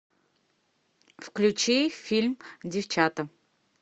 включи фильм девчата